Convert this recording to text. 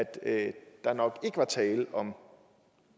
at der nok ikke var tale om